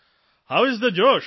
how is the Josh